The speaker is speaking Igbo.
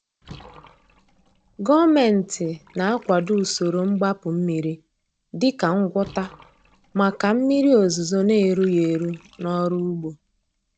Gọọmenti na-akwado usoro mgbapu mmiri dị ka ngwọta maka mmiri ozuzo na-erughị eru n’ọrụ ugbo.